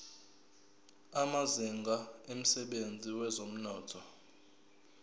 amazinga emsebenzini wezomnotho